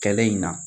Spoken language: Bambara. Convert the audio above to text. Kɛlen in na